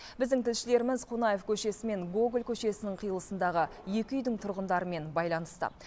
біздің тілшілеріміз қонаев көшесі мен гоголь көшесінің қиылысындағы екі үйдің тұрғындарымен байланыста